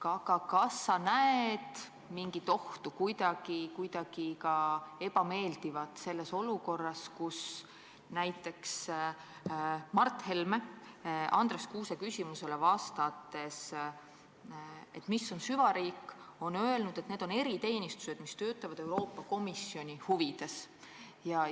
Aga kas sa näed mingit ohtu, midagi ebameeldivat selles olukorras, et näiteks Mart Helme on vastates Andres Kuuse küsimusele, mis on süvariik, öelnud, et need on eriteenistused, kes töötavad Euroopa Komisjoni huvides?